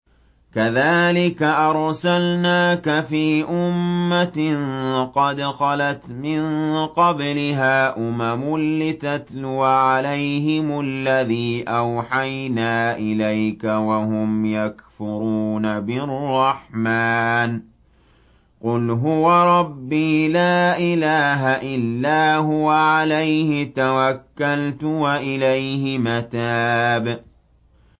كَذَٰلِكَ أَرْسَلْنَاكَ فِي أُمَّةٍ قَدْ خَلَتْ مِن قَبْلِهَا أُمَمٌ لِّتَتْلُوَ عَلَيْهِمُ الَّذِي أَوْحَيْنَا إِلَيْكَ وَهُمْ يَكْفُرُونَ بِالرَّحْمَٰنِ ۚ قُلْ هُوَ رَبِّي لَا إِلَٰهَ إِلَّا هُوَ عَلَيْهِ تَوَكَّلْتُ وَإِلَيْهِ مَتَابِ